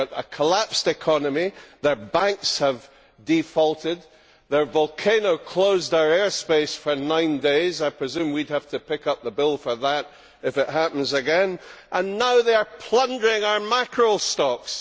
They have got a collapsed economy, their banks have defaulted, their volcano closed our airspace for nine days I presume we would have to pick up the bill for that if it happens again and now they are plundering our mackerel stocks.